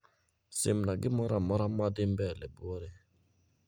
Simna gimoramora madhii mbele buore